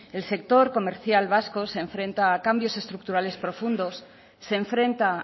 el sector comercial vasco se enfrenta a cambios estructurales profundos se enfrenta